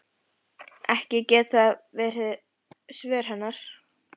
Ekki geta það verið svör hennar.